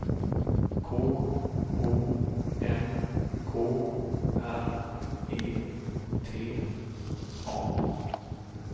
K O N K R E T A